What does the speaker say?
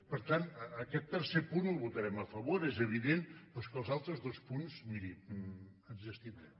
per tant aquest tercer punt el votarem a favor és evident però és que als altres dos punts miri ens hi abstindrem